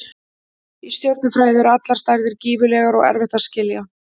Í stjörnufræði eru allar stærðir gífurlegar og erfitt að skilja.